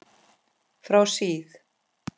Frá síð